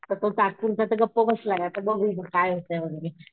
आता तो तात्पुरता तर गप्प बसलाय पण बघू म काय होतंय वैगरे.